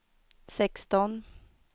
sexton